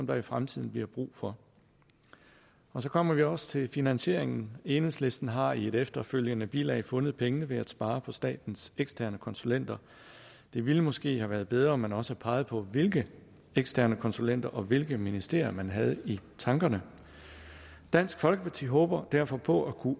der i fremtiden bliver brug for så kommer vi også til finansieringen enhedslisten har i et efterfølgende bilag fundet pengene ved at spare på statens eksterne konsulenter det ville måske have været bedre om man også havde peget på hvilke eksterne konsulenter og hvilke ministerier man havde i tankerne dansk folkeparti håber derfor på at kunne